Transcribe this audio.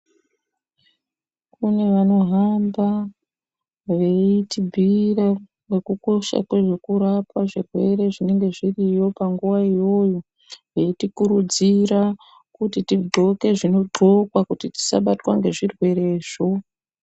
Kune vano hamba veiti bhuyira neku kosha kwezve ku rapwa zvirwere zvinenge zviriyo pa nguva iyoyo veiti kurudzira kuti ti ndxoke zvino ndxokwa kuti tisa batwa nge zvirwere zvo.